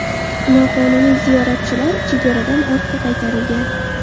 Noqonuniy ziyoratchilar chegaradan ortga qaytarilgan.